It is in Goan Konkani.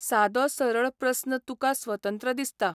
सादो सरळ प्रस्न तुका स्वतंत्र दिसता